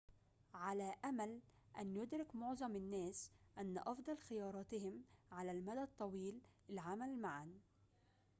على أمل أن يُدرك معظم الناس أن أفضل خياراتهم على المدى الطويل العمل معاً